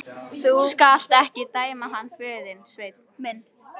Þú skalt ekki dæma hann föður þinn, Sveinn minn.